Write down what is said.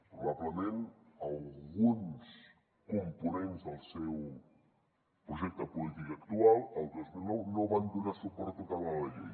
probablement alguns components del seu projecte polític actual el dos mil nou no van donar suport total a la llei